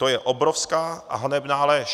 To je obrovská a hanebná lež.